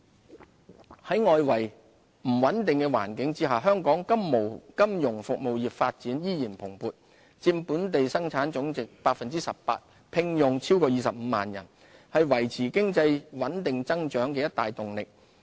金融服務在外圍不穩定的環境下，香港金融服務業發展依然蓬勃，佔本地生產總值 18%， 聘用超過25萬人，是維持經濟穩定增長的一大動力。